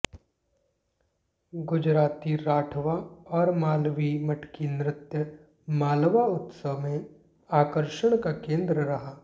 गुजराती राठवा और मालवी मटकी नृत्य मालवा उत्सव में आकर्षण का केंद्र रहा